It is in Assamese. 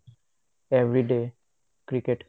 everyday cricket